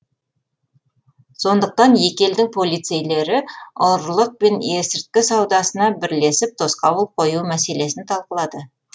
сондықтан екі елдің полицейлері ұрлық пен есірткі саудасына бірлесіп тосқауыл қою мәселесін талқылады